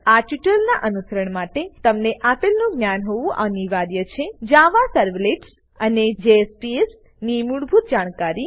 આ ટ્યુટોરીયલનાં અનુસરણ માટે તમને આપેલનું જ્ઞાન હોવું અનિવાર્ય છે જાવા સર્વલેટ્સ જાવા સર્વલેટ્સ અને જેએસપીએસ જેએસપીઝ ની મૂળભૂત જાણકારી